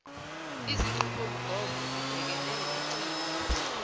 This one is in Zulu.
izinqubomgomo zibhekene nemicimbi